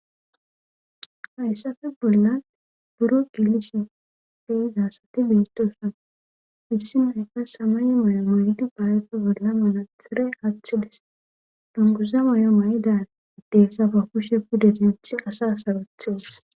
Hayssafe bolla buro gelishe de7iza asati beettoosona issi uraka samaye mayo mayidi ba ayfe bolla manaxxire wothi o dungguza mayo mayida addeyka ba kushe pude denthi asaa sarothees.